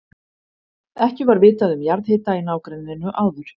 Ekki var vitað um jarðhita í nágrenninu áður.